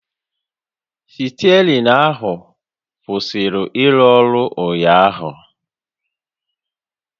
Stierịng ahụ kwụsịrị ịrụ ọrụ ụnyaahụ